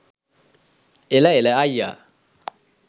එල එල අයියා